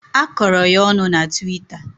A kọrọ ya ọnụ na tiwita.